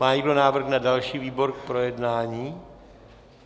Má někdo návrh na další výbor k projednání?